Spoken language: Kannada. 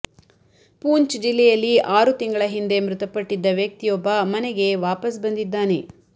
ಪೂಂಚ್ ಜಿಲ್ಲೆಯಲ್ಲಿ ಆರು ತಿಂಗಳ ಹಿಂದೆ ಮೃತಪಟ್ಟಿದ್ದ ವ್ಯಕ್ತಿಯೊಬ್ಬ ಮನೆಗೆ ವಾಪಸ್ ಬಂದಿದ್ದಾನೆ